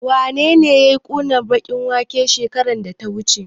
Wanene yayi ƙunar baƙin waken shekarar da ta wuce?